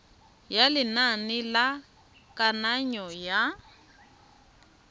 ya lenane la kananyo ya